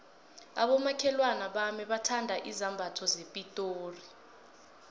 abomakhelwana bami bathanda izambatho zepitori